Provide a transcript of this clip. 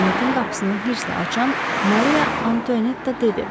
Kabinetin qapısını hiddətlə açan Mariya Antuanetta dedi.